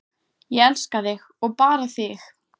Ég elska þig og bara þig.